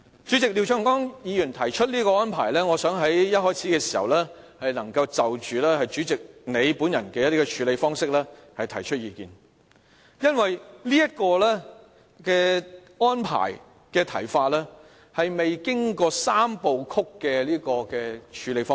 主席，廖長江議員提出這個安排，我想一開始能夠就着主席你本人的處理方式提出意見，因為這議案的安排，是沒有經過"三部曲"的處理方式。